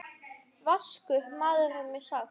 Vaskur maður er mér sagt.